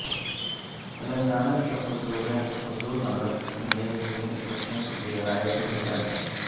تلنگانہ کے حضور نگر میں ضمنی الیکشن کے لئے رائے دہی جاری